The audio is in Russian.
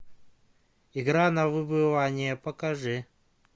игра на выбывание покажи